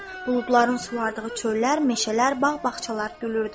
Buludların sulardığı çöllər, meşələr, bağ-bağçalar gülürdü.